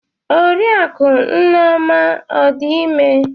Oriakụ nneoma ọ dị ime?